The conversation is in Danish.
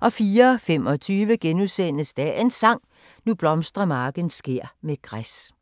* 04:25: Dagens Sang: Nu blomstrer marken skær med græs *